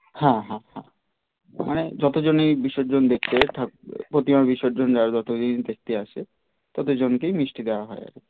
হ্যাঁ হ্যাঁ হ্যাঁ মানে যত জনই বিসর্জন দেখতে ঠাকুরের প্রতিমা বিসর্জন যায় ততজন দেখতে আসে ততজন কেই মিষ্টি দেওয়া হয় আর কি